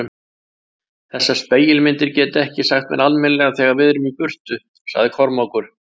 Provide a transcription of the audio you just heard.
Þessar spegilmyndir geta ekki hagað sér almennilega þegar við erum í burtu, sagði Kormákur.